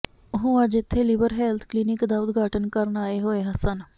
ਉਹ ਅੱਜ ਇਥੇ ਲਿਵਰ ਹੈਲਥ ਕਲੀਨਿਕ ਦਾ ਉਦਘਾਟਨ ਕਰਨ ਆਏ ਹੋਏ ਸਨ